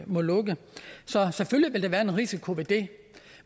må lukke så selvfølgelig vil der være en risiko ved det